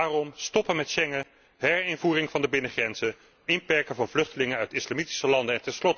Daarom stoppen met Schengen, herinvoering van de binnengrenzen, inperken van vluchtelingen uit islamitische landen.